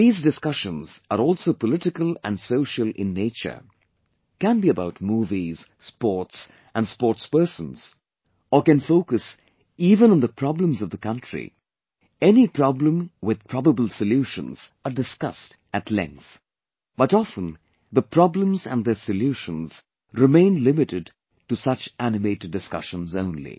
These discussions are also political and social in nature, can be about movies, sports and sportspersons or can focus even on the problems of the country any problem with probable solutions are discussed at length but often the problems and their solutions remain limited to such animated discussions only